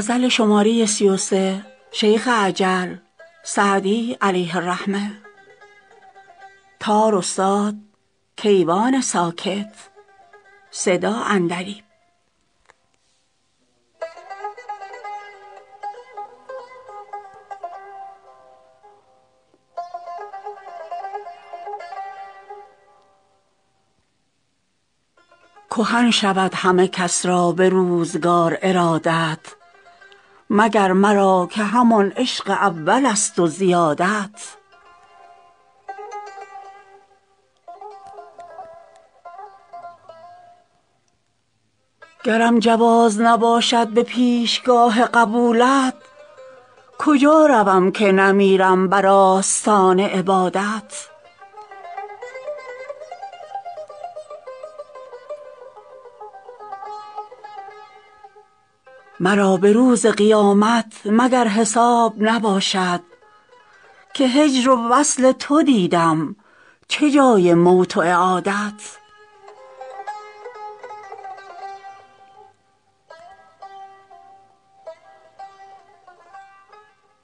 کهن شود همه کس را به روزگار ارادت مگر مرا که همان عشق اولست و زیادت گرم جواز نباشد به پیشگاه قبولت کجا روم که نمیرم بر آستان عبادت مرا به روز قیامت مگر حساب نباشد که هجر و وصل تو دیدم چه جای موت و اعادت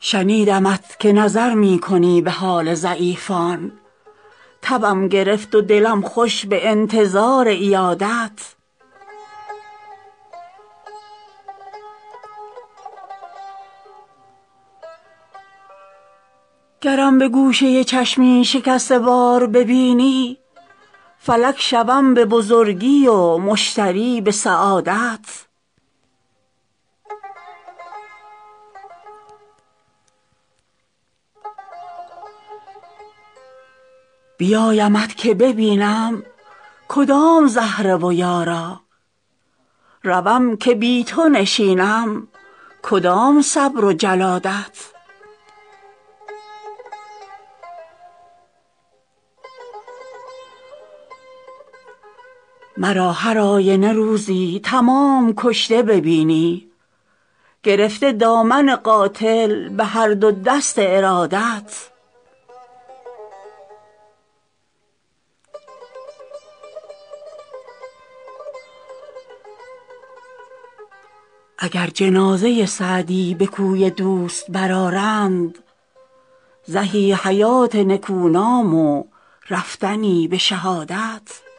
شنیدمت که نظر می کنی به حال ضعیفان تبم گرفت و دلم خوش به انتظار عیادت گرم به گوشه چشمی شکسته وار ببینی فلک شوم به بزرگی و مشتری به سعادت بیایمت که ببینم کدام زهره و یارا روم که بی تو نشینم کدام صبر و جلادت مرا هر آینه روزی تمام کشته ببینی گرفته دامن قاتل به هر دو دست ارادت اگر جنازه سعدی به کوی دوست برآرند زهی حیات نکونام و رفتنی به شهادت